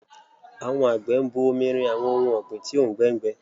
Àwọn àgbẹ̀ ń bu omi rin àwọn ohun ọ̀gbìn tí òùngbẹ ń gbẹ